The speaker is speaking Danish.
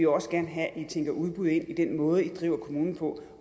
også gerne have at i tænker udbud ind i den måde i driver kommunen på